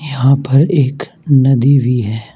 यहां पर एक नदी भी है।